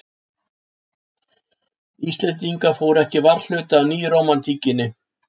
Íslendingar fóru ekki varhluta af nýrómantíkinni.